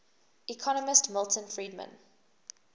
economist milton friedman